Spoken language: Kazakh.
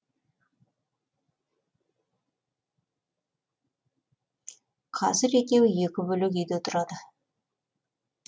қазір екеуі екі бөлек үйде тұрады